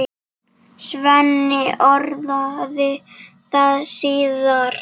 Svenni orðaði það síðar.